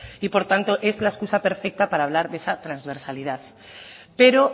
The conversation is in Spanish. y por tanto es la escusa perfecta para hablar de esa transversalidad pero